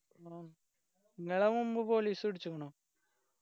ആ നിങ്ങളെ മുമ്പ് police പിടിച്ചിക്കണോ